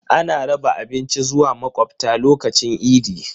Ana raba abinci zuwa makwabta lokacin idi.